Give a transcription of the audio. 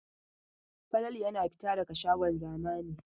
Falalu yana fita daga shagon zamani.